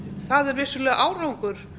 er vissulega árangur